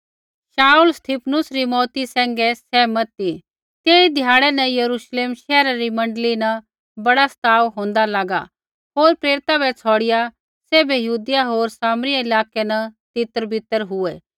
शाऊल स्तिफनुस री मौऊती सैंघै सहमत ती तेई ध्याड़ै न यरूश्लेम शैहरा री मण्डली न बड़ा सताव होंदा लागा होर प्रेरिता बै छ़ौड़िआ सैभै यहूदिया होर सामरिया इलाकै न तितरबितर हुऐ